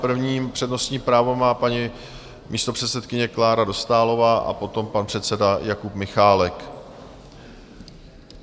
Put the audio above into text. První přednostní právo má paní místopředsedkyně Klára Dostálová a potom pan předseda Jakub Michálek.